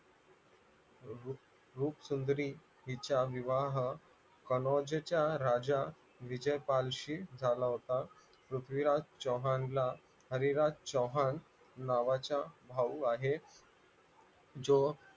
रूप सुंदरी हिचा विवाह कनोजेचा राजा विजय पालशी झाला होता पृथ्वीराज चव्हाण ला हरिराज चव्हाण नावाचा भाऊ आहे जो